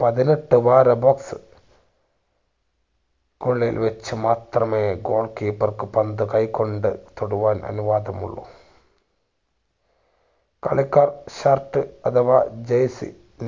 പതിനെട്ട് ഉള്ളിൽ വച്ച് മാത്രമേ goal keeper ക്കു പന്ത് തൊടുവാൻ അനുവാദമുള്ളു. കളിക്കാർ shirt അഥവാ jersey